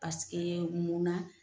mun na